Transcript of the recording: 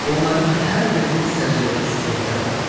Onların hər birinin səciyyəvi xüsusiyyətləri vardır.